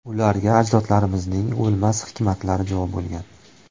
Ularga ajdodlarimizning o‘lmas hikmatlari jo bo‘lgan.